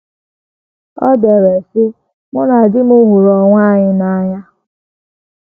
O dere, sị: “ Mụ na di m hụrụ onwe anyị n’anya.